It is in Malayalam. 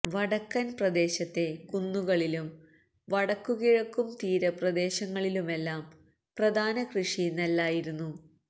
വടക്കന് പ്രദേശത്തെ കുന്നുകളിലും വടക്കു കിഴക്കും തീരപ്രദേശങ്ങളിലുമെല്ലാം പ്രധാന കൃഷി നെല്ലായിരുന്നു